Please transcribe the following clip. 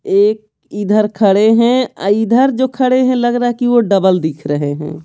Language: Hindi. एक इधर खड़े हैं इधर जो खड़े हैं लग रहा है कि वो डबल दिख रहे है।